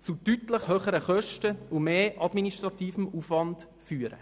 zu deutlich höheren Kosten und mehr administrativem Aufwand führen.